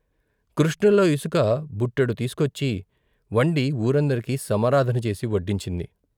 కృష్ణలో ఇసుక బుట్టెడు తీసుకొచ్చి వండి వూరందరికి సమారాధన చేసి వడ్డించింది.